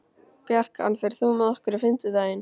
Bjarkan, ferð þú með okkur á fimmtudaginn?